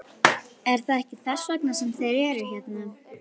Er það ekki þess vegna sem þeir eru hérna?